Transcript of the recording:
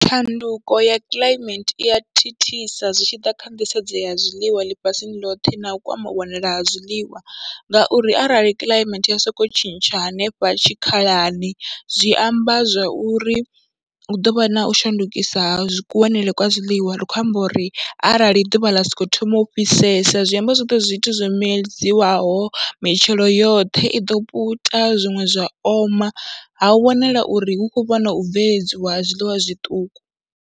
Tshanduko ya climate i ya thithisa zwi tshi ḓa kha nḓisedzo ya zwiḽiwa ḽifhasini ḽothe na u kwama u wanala ha zwiḽiwa ngauri arali climate ya sokou tshintsha hanefha tshikhalani, zwi amba zwa uri hu ḓo vha na u shandukisa ha kuwanele kwa zwiḽiwa. Ri khou amba uri arali ḓuvha ḽa sokou thoma u fhisesa zwi amba zwoṱhe zwi zwithu zwo medziwaho, mitshelo yoṱhe i ḓo puta, zwiṅwe zwa oma. Ha u wanala uri hu khou vhona u bveledziwa ha zwiḽiwa zwiṱuku.